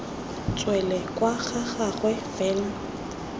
tswele kwa ga gagwe fela